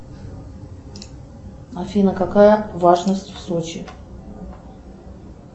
афина какая влажность в сочи